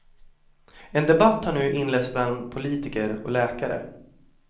En debatt har nu inletts bland politiker och läkare.